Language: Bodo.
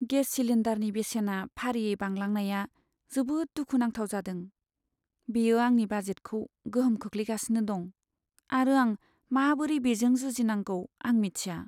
गेस सिलिन्डारनि बेसेना फारियै बांलांनाया जोबोद दुखु नांथाव जादों। बेयो आंनि बाजेटखौ गोहोम खोख्लैगासिनो दं, आरो आं माबोरै बेजों जुजिनांगौ आं मिथिया।